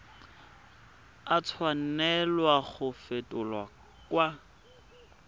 a tshwanela go fetolwa kwa